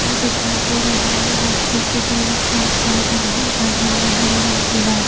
दिखाई दे रहा है रास्ते के दोनों साइड गार्डन है गार्डन में हरे रंग की गास--